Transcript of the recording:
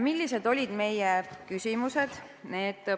Millised olid meie küsimused?